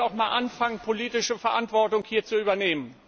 Man muss auch mal anfangen, politische Verantwortung zu übernehmen!